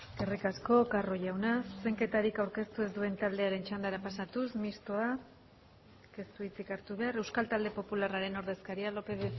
eskerrik asko carro jauna zuzenketarik aurkeztu ez duen taldearen txandara pasatuz mistoa ez du hitzik hartu behar euskal talde popularraren ordezkaria lópez